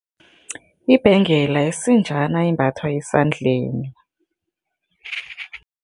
Ibhengela isinjana embathwa esandleni.